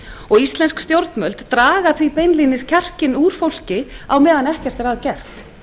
og íslensk stjórnvöld draga því beinlínis kjarkinn úr fólki á meðan ekkert er að gert